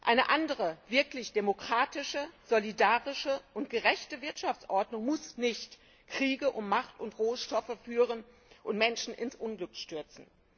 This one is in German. Eine andere, wirklich demokratische, solidarische und gerechte Wirtschaftsordnung muss nicht Kriege um Macht und Rohstoffe führen und Menschen ins Unglück stürzen.